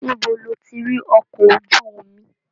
Níbo lo ti ri ọkọ̀ ojú omi?